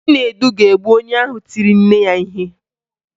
Chinedu ga-egbu onye ahụ tiri nne ya ihe